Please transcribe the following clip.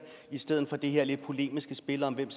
i stedet for det her polemiske spil om hvem